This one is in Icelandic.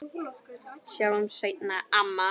Sjáumst seinna, amma.